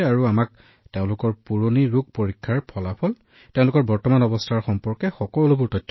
আৰু তেওঁলোকে আমাক তেওঁলোকৰ পুৰণি ৰোগৰ প্ৰতিবেদন তেওঁলোকৰ বৰ্তমানৰ অৱস্থাৰ বিষয়ে কয় সকলো